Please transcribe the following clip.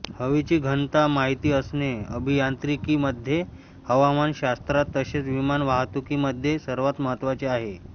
हवेची घनता माहिती असणे अभियांत्रिकीमध्ये हवामान शास्त्रात तसेच विमान वाहतूकी मध्ये सर्वात महत्त्वाचे आहे